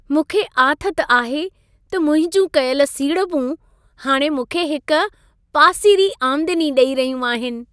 मूंखे आथत आहे त मुंहिंजूं कयल सीड़पूं हाणे मूंखे हिक पासीरी आमदनी ॾई रहियूं आहिन।